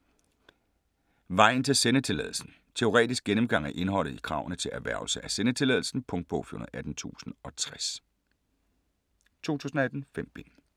Vejen til sendetilladelsen Teoretisk gennemgang af indholdet i kravene til erhvervelse af sendetilladelsen. Punktbog 418060 2018. 5 bind.